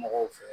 Mɔgɔw fɛ